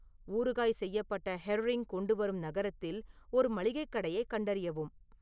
ஊறுகாய் செய்யப்பட்ட ஹெர்ரிங் கொண்டு வரும் நகரத்தில் ஒரு மளிகைக் கடையைக் கண்டறியவும்